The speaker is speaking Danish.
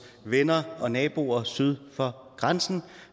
venner og naboer syd for grænsen